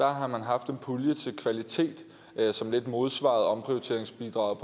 har man haft en pulje til kvalitet som lidt modsvarede omprioriteringsbidraget